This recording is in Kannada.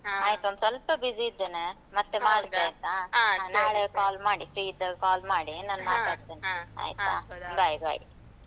ಆಯ್ತ್ ಒಂದ್ ಸೊಲ್ಪ busy ಮಾಡ್ತೆ ಆಯ್ತಾ. call ಮಾಡಿ free ಇದ್ದಾಗ call ಮಾಡಿ. ಮಾತಾಡ್ತೇನೆ bye bye.